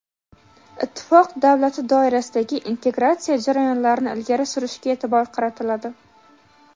Ittifoq davlati doirasidagi integratsiya jarayonlarini ilgari surishga e’tibor qaratiladi.